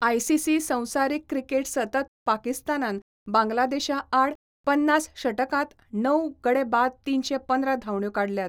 ICC संवसारीक cricket सतत पाकिस्तानान बांगलादेशा आड पन्नास षटकांत णव गडे बाद तिनशे पंदरा धांवड्यो काडल्यात.